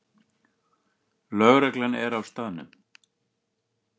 Lögreglan er á staðnum